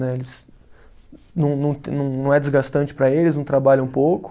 Não não não é desgastante para eles, não trabalham pouco.